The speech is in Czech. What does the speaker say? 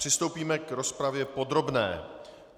Přistoupíme k rozpravě podrobné.